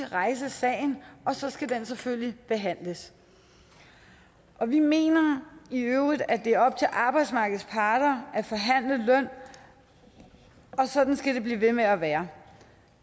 rejse sagen og så skal den selvfølgelig behandles vi mener i øvrigt at det er op til arbejdsmarkedets parter at forhandle løn og sådan skal det blive ved med at være